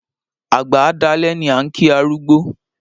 Àgbà á dalẹ́ ni a ń kí arúgbó